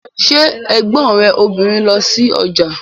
Ṣé ẹ̀gbọ́n rẹ̀ obìnrin ń lọ sí ọjà